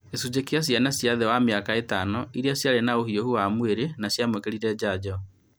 Gĩcunji gĩa ciana cia thĩ wa mĩaka ĩtano iria ciarĩ na ũhiũhu wa mwĩrĩ na nĩciamũkĩrire njanjo